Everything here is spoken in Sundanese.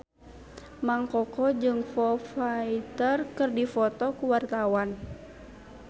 Mang Koko jeung Foo Fighter keur dipoto ku wartawan